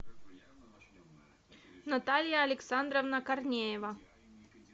наталья александровна корнеева